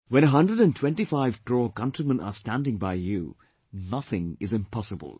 When a hundred and twenty five crore countrymen are standing by you, nothing is impossible